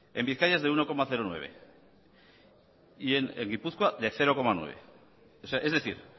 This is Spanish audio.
en bizkaia es de uno coma nueve y en gipuzkoa de cero coma nueve es decir